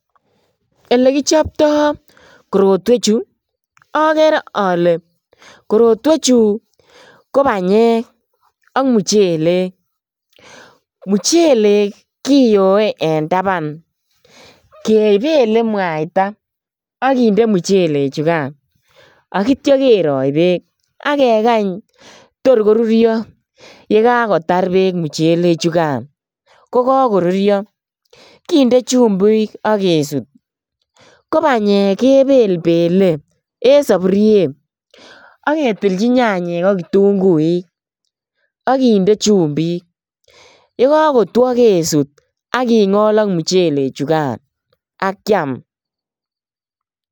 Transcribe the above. Elekichopto korotwechu agere ale korotwechu ko banyek ak muchelek. Muchelek kiyoe en taban kegele mwaita ak kinde muchelechugan ak kitya kerongyi beek ak kekany tor korurio ye kakotar beek muchele chugan kokakorurio kinde chumbik ak kesut. Kobanyek kebelbele en sapuriet ak ketilchi nyanyek ak kitunguik ak kinde chumbik. Yekakotwo kesut ak kingol ak muchele chugan ak kiam.